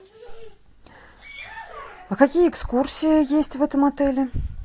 а какие экскурсии есть в этом отеле